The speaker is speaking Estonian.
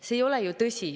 See ei ole ju tõsi.